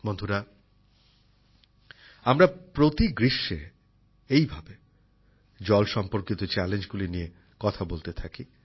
বন্ধুরা আমরা প্রতি গ্রীষ্মে এইভাবে জল সম্পর্কিত চ্যালেঞ্জগুলি নিয়ে কথা বলতে থাকি